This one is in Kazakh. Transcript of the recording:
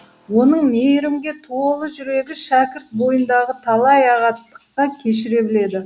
оның мейірімге толы жүрегі шәкірт бойындағы талай ағаттықты кешіре біледі